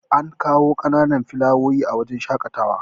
an kawo ƙananan filawoyi a wajen shaƙatawa